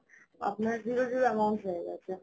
আপনার zero zero amount হয়েগেছে